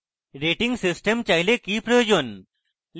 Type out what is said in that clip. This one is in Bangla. rating system চাইলে কি প্রয়োজন